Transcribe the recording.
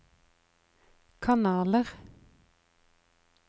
kanaler